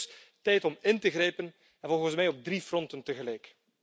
Het is dus tijd om in te grijpen, en volgens mij op drie fronten tegelijk.